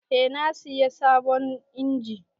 Eh na sayi sabon injin.